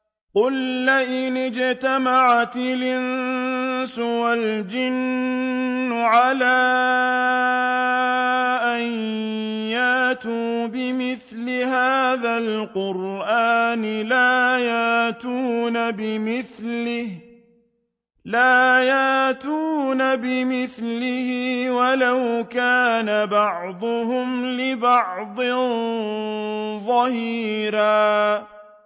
قُل لَّئِنِ اجْتَمَعَتِ الْإِنسُ وَالْجِنُّ عَلَىٰ أَن يَأْتُوا بِمِثْلِ هَٰذَا الْقُرْآنِ لَا يَأْتُونَ بِمِثْلِهِ وَلَوْ كَانَ بَعْضُهُمْ لِبَعْضٍ ظَهِيرًا